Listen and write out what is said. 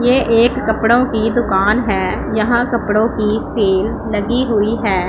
ये एक कपड़ों की दुकान है यहां कपड़ों की सेल लगी हुई है।